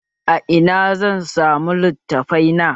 A ina zan samu littafai na?